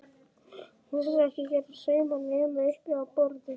Hún sagðist ekki geta saumað nema uppi á borði.